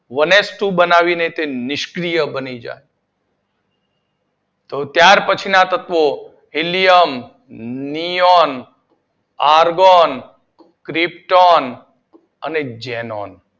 One H two બનાવી ને તે નિષ્ક્રીય બની જાય. તો ત્યાર પછી ના તત્વો હીલિયમ, નિયૉન, આર્ગોન, ક્રિપ્ટોન અને ઝેનોન